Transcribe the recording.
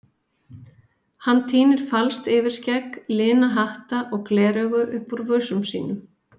Hann tínir falskt yfirskegg, lina hatta og gleraugu upp úr vösum sínum.